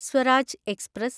Swaraj express